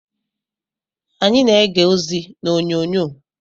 Anyị na-ege ozi n'onyonyo.